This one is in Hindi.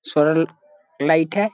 स्वरल लाइट है।